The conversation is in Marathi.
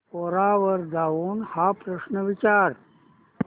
कोरा वर जाऊन हा प्रश्न विचार